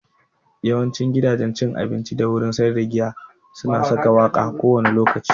Yawancin gidajen cin abinci da wurin sayar da giya su na saka waƙa kowane lokaci